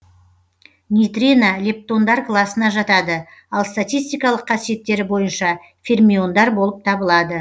нейтрино лептондар класына жатады ал статистикалық қасиеттері бойынша фермиондар болып табылады